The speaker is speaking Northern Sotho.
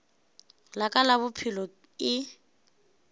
la ka la bophelo e